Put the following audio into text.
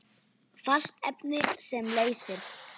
Fast efni sem leysir